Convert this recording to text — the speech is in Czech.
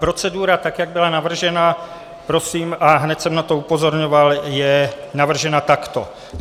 Procedura, tak jak byla navržena, prosím, a hned jsem na to upozorňoval - je navržena takto: